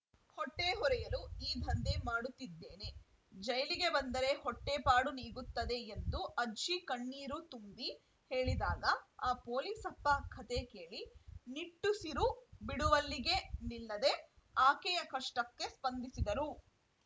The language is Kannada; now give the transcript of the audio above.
ಹೊಟ್ಟೆಹೊರೆಯಲು ಈ ದಂಧೆ ಮಾಡುತ್ತಿದ್ದೇನೆ ಜೈಲಿಗೆ ಬಂದರೆ ಹೊಟ್ಟೆಪಾಡು ನೀಗುತ್ತದೆ ಎಂದು ಅಜ್ಜಿ ಕಣ್ಣೀರು ತುಂಬಿ ಹೇಳಿದಾಗ ಆ ಪೊಲೀಸಪ್ಪ ಕಥೆ ಕೇಳಿ ನಿಟ್ಟುಸಿರು ಬಿಡುವಲ್ಲಿಗೇ ನಿಲ್ಲದೆ ಆಕೆಯ ಕಷ್ಟಕ್ಕೆ ಸ್ಪಂದಿಸಿದರು